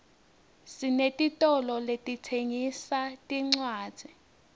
sinetitolo letitsengisa tincwadzi